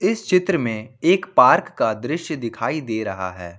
इस चित्र में एक पार्क का दृश्य दिखाई दे रहा है।